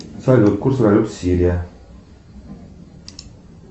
салют курс валют сирия